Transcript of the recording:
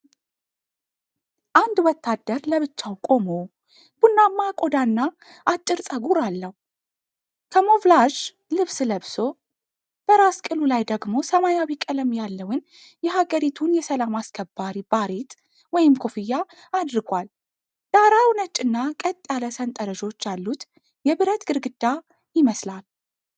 አንድ ወታደር ለብቻው ቆሞ፣ ቡናማ ቆዳና አጭር ጸጉር አለው። ካሞፍላዥ ልብስ ለብሶ፣ በራስ ቅሉ ላይ ደግሞ ሰማያዊ ቀለም ያለውን የሃገሪቱን የሰላም አስከባሪ ባሬት/ኮፍያ አድርጓል። ዳራው ነጭ እና ቀጥ ያለ ሰንጠረዦች ያሉት የብረት ግድግዳ ይመስላል።